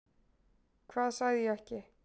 Hvað sagði ég ekki?